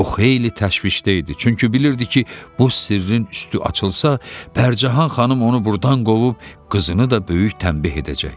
O xeyli təşvişdə idi, çünki bilirdi ki, bu sirrin üstü açılsa, Pərcahan xanım onu burdan qovub qızını da böyük tənbih edəcək.